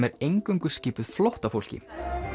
er eingöngu skipuð flóttafólki